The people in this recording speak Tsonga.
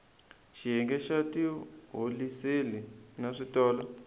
xiyenge xa tiholiseli na switolo